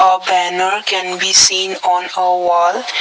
a banner can be seen on a wall.